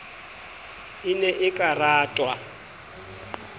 e ne e ka ratwa